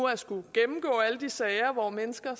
at skulle gennemgå alle de sager hvor mennesker